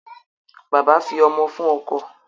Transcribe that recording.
Bàbá fi ọmọ fún ọkọ.